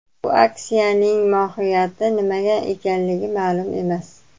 Bu aksiyaning mohiyati nimada ekanligi ma’lum emas.